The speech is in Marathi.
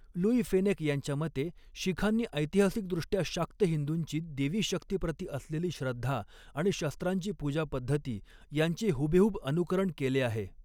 लुई फेनेक यांच्या मते, शीखांनी ऐतिहासिकदृष्ट्या शाक्त हिंदूंची देवी शक्तीप्रति असलेली श्रद्धा आणि शस्त्रांची पूजा पद्धती यांचे हुबेहूब अनुकरण केले आहे.